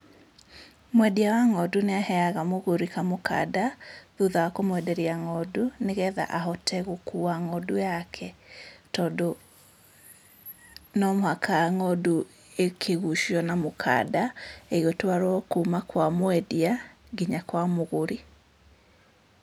Mwendia wa ng'ondu nĩaheaga mũgũri kamũkanda, thutha wa kũmwenderia ng'ondu nĩgetha ahote gũkua ng'ondu yake tondũ no mũhaka ng'ondu ĩkĩgucio na mũkanda ĩgĩtwarwo kuma kwa mwendia, nginya kwa mũgũri.